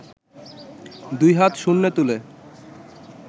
দুই হাত শূন্যে তুলে